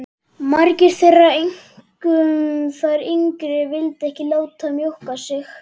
Margar þeirra, einkum þær yngri, vildu ekki láta mjólka sig.